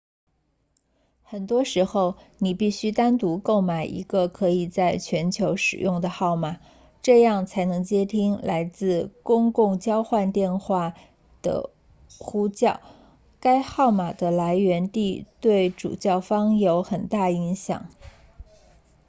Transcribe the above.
很多时候你必须单独购买一个可以在全球使用的号码这样才能接听来自公共交换电话网 pstn 电话的呼叫该号码的来源地对主叫方有很大影响